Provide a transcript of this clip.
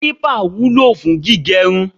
clipper wúlò fún gígé irun